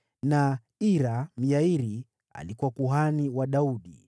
na Ira, Myairi, alikuwa kuhani wa Daudi.